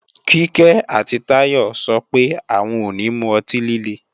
Kíkẹ́ àti Táyọ sọ pé, àwọn ò ní mu ọtí líle